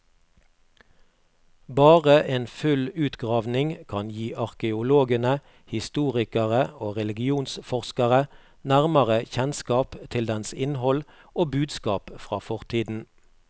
Bare en full utgravning kan gi arkeologene, historikere og religionsforskere nærmere kjennskap til dens innhold og budskap fra fortiden.